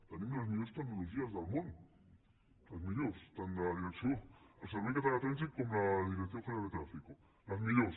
tenim les millors tecnologies del món les millors tant del servei català de trànsit com de la dirección general de tráfico les millors